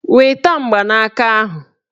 Weta mgbanaka ahụ!